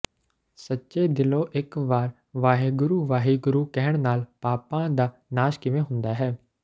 ਸੱਚੇ ਦਿਲੋਂ ਇੱਕ ਵਾਰ ਵਾਹਿਗੁਰੂ ਵਾਹਿਗੁਰੂ ਕਹਿਣ ਨਾਲ ਪਾਪਾਂ ਦਾ ਨਾਸ਼ ਕਿਵੇਂ ਹੁੰਦਾ ਹੈ